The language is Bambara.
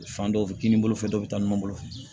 Fan dɔw f kinin bolo fɛ dɔ be taa ɲɔgɔn bolo